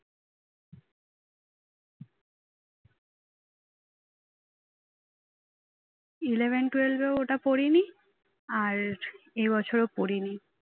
eleven twelve এও এটা পড়িনি আর এ বছরও পড়িনি